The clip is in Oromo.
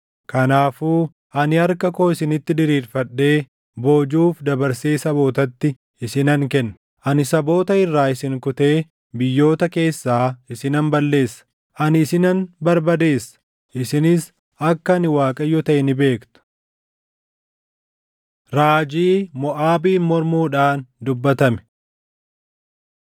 kanaafuu ani harka koo isinitti diriirfadhee boojuuf dabarsee sabootatti isinan kenna. Ani saboota irraa isin kutee biyyoota keessaa isinan balleessa. Ani isinan barbadeessa; isinis akka ani Waaqayyo taʼe ni beektu.’ ” Raajii Moʼaabiin Mormuudhaan Dubbatame